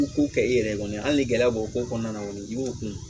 Ko kɛ i yɛrɛ ye kɔni hali ni gɛlɛya b'o ko kɔnɔna na kɔni i b'o kun